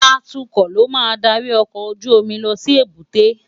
Àtúkò ló má n dàrí òkòójùómì lòsí ébùté